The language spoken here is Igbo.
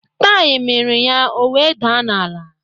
Taiyi miri ya, ọ wee daa n'ala